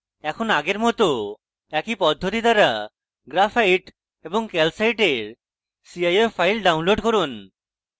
এখন আগের মত একই পদ্ধতি দ্বারা graphite এবং calcite এর cif files download করুন